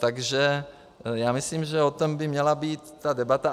Takže já myslím, že o tom by měla být ta debata.